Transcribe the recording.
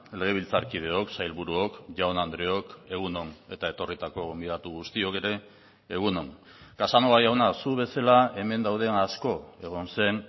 legebiltzarkideok sailburuok jaun andreok egun on eta etorritako gonbidatu guztiok ere egun on casanova jauna zu bezala hemen dauden asko egon zen